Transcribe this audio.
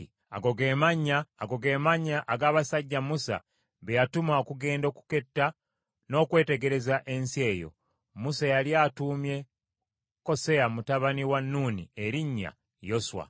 Ago ge mannya ag’abasajja Musa be yatuma okugenda okuketta n’okwetegereza ensi eyo. Musa yali atuumye Koseya mutabani wa Nuuni erinnya Yoswa.